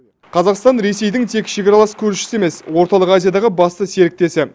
қазақстан ресейдің тек шекаралас көршісі емес орталық азиядағы басты серіктесі